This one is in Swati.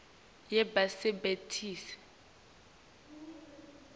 yebasebenti